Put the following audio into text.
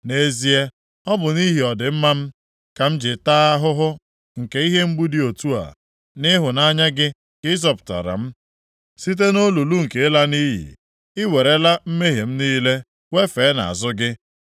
Nʼezie, ọ bụ nʼihi ọdịmma m, ka m ji taa ahụhụ nke ihe mgbu dị otu a. Nʼịhụnanya gị ka ị zọpụtara m site nʼolulu nke ịla nʼiyi. I werela mmehie m niile wefee nʼazụ gị.